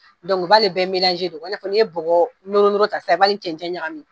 Donku u b'ale bɛ i n'a fɔ n'i ye nɔgɔ nɔrɔ nɔrɔ ta i b'a ni cɛncɛn ɲagamin.